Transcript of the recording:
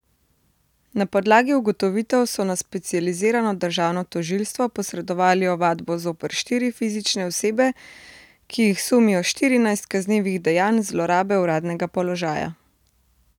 Na podlagi ugotovitev so na specializirano državno tožilstvo posredovali ovadbo zoper štiri fizične osebe, ki jih sumijo štirinajstih kaznivih dejanj zlorabe uradnega položaja.